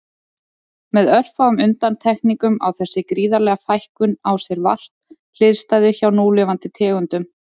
Með örfáum undantekningum á þessi gríðarlega fækkun á sér vart hliðstæðu hjá núlifandi tegundum.